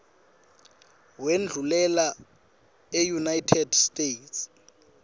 wendlulela eunited states